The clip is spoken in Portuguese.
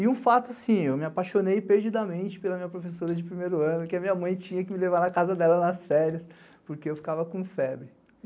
E um fato, sim, eu me apaixonei perdidamente pela minha professora de primeiro ano, que a minha mãe tinha que me levar na casa dela nas férias, porque eu ficava com febre.